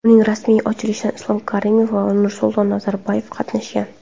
Uning rasmiy ochilishida Islom Karimov va Nursulton Nazarboyev qatnashgan.